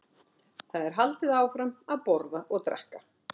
Þar er haldið áfram að borða og drekka.